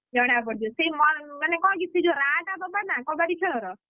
ଜଣା ପଡିଯିବ ସେଇ ମ ମାନେ କଣ କି ସେଇ ଯୋଉ ରାହା ଟା ଦବା ନା କବାଡି ଖେଳର।